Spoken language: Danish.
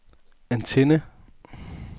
antenne